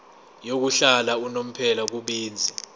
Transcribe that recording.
yokuhlala unomphela kubenzi